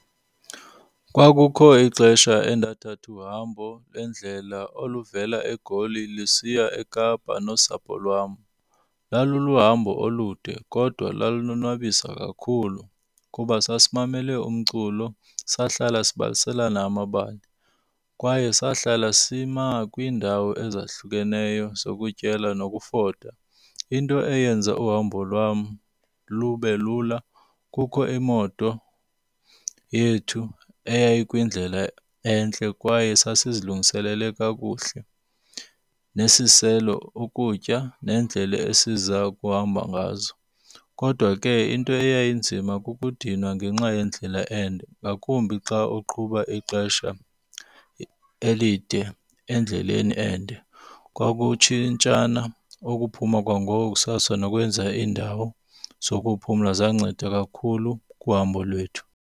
Kwakukho ixesha endathatha uhambo lendlela oluvela eGoli lusiya eKapa nosapho lwam. Laluluhambo olude kodwa lalonwabisa kakhulu kuba sasimamele umculo, sahlala sibaliselana amabali kwaye sahlala sima kwiindawo ezahlukeneyo zokutyela nokufota. Into eyenza uhambo lwam lube lula kukho imoto yethu eyayikwindlela entle kwaye sasizilungiselele kakuhle nesiselo, ukutya neendlela esiza kuhamba ngazo. Kodwa ke into eyayinzima kukudinwa ngenxa yendlela ende ngakumbi xa uqhuba ixesha elide endleleni ende. Kwakutshintshana ukuphuma kwangoko kusasa nokwenza iindawo zokuphumla zanceda kakhulu kuhambo lwethu.